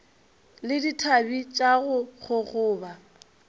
le dithabe tša go gogoba